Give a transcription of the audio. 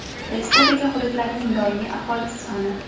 respublika hududlarining doimiy aholisi soni:.